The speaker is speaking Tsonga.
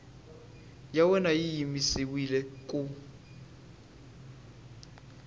ya wena yi yimisiwile ku